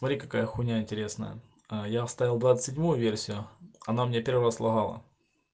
смотри какая хуйня интересная ээ я оставил двадцать седьмую версию она у меня первая слогала